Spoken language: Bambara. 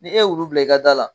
Ni ye wulu bila i ka da la